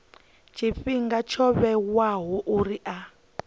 tshifhinga tsho vhewaho uri a